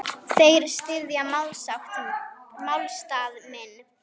Þeir styðja málstað minn.